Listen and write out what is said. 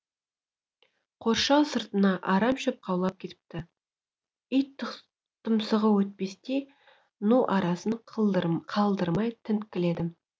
қоршау сыртына арам шөп қаулап кетіпті ит тұмсығы өтпестей ну арасын қалдырмай тінткіледім